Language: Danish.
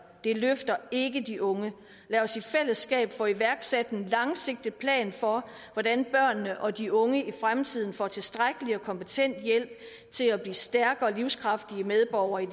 og det løfter ikke de unge lad os i fællesskab få iværksat en langsigtet plan for hvordan børnene og de unge i fremtiden får tilstrækkelig og kompetent hjælp til at blive stærke og livskraftige medborgere i